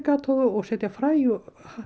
setja fræ og